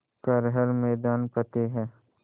कर हर मैदान फ़तेह